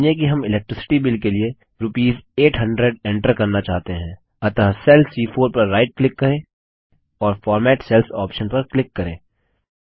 मानिए कि हम इलेक्ट्रिसिटी बिल के लिए रूपीस 800 एन्टर करना चाहते हैं अतः सेल सी4 पर राइट क्लिक करें और फॉर्मेट सेल्स ऑप्शन पर क्लिक करें